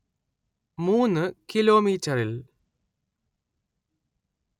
മൂന് കിലോമീറ്ററിൽ